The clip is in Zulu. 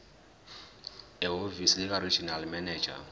ehhovisi likaregional manager